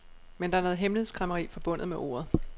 Men der er noget hemmelighedskræmmeri forbundet med ordet.